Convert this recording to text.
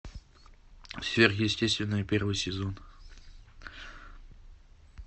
сверхъестественное первый сезон